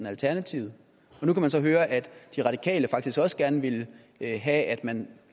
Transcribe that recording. alternativet og nu kan man så høre at de radikale faktisk også gerne ville have at man